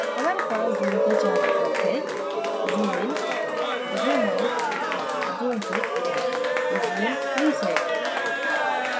हमारे पास zoom के 4 विकल्प हैंzoom इन zoom out zoom fit zoom reset